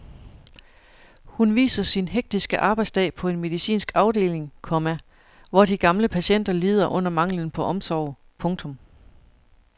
Hun viser sin hektiske arbejdsdag på en medicinsk afdeling, komma hvor de gamle patienter lider under manglen på omsorg. punktum